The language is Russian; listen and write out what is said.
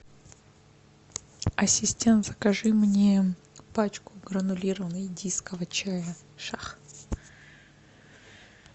ассистент закажи мне пачку гранулированного индийского чая шах